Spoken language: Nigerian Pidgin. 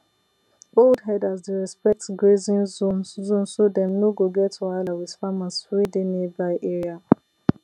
old herders dey respect grazing zones zones so dem no go get wahala with farmers wey dey nearby area